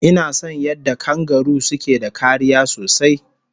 Inason yadda kangaru suke da kariya sosai